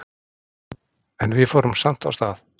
En við fórum samt af stað.